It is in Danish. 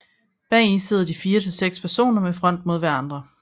Bagi sidder de fire til seks personer med front mod hverandre